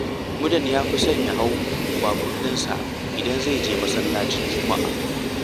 Mudan ya fi son ya hau baburinsa idan zai je masallacin juma’a